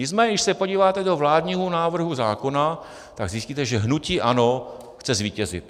Nicméně když se podíváte do vládního návrhu zákona, tak zjistíte, že hnutí ANO chce zvítězit.